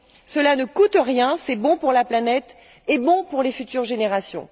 Cela ne coûte rien, c'est bon pour la planète et bon pour les futures générations.